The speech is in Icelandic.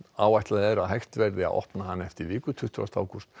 áætlað er að hægt verði að opna hana eftir viku tuttugasti ágúst